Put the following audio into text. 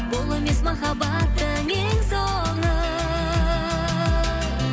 бұл емес махаббаттың ең соңы